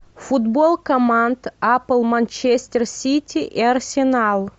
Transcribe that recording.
футбол команд апл манчестер сити и арсенал